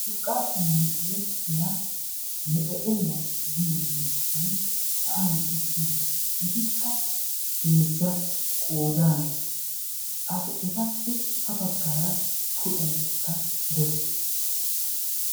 Urqqaappe merettiya mexeqeliya giyo miishshay sa'an utti uttiis. Etikka heezza qodan, etappe ha baggaara puuxaykka de'ees.